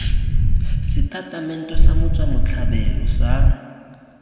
setatamente sa motswa setlhabelo sa